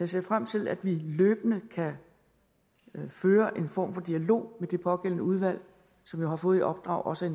ser frem til at vi løbende kan føre en form for dialog med det pågældende udvalg som jo har fået i opdrag også